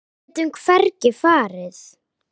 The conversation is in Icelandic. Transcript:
Við getum hvergi farið.